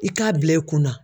I k'a bila i kunna